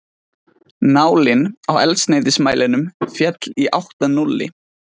Nálin á eldsneytismælinum féll í átt að núlli.